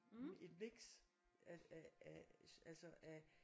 Et mix af af altså af